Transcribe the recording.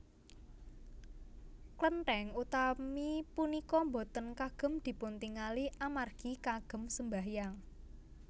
Klentèng utami punika boten kagem dipuntingali amargi kagem sembahyang